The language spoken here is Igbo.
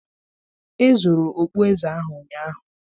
Ezuru okpueze ahụ ụnyaahụ